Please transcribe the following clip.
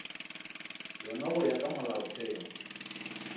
yona go ya ka molaotheo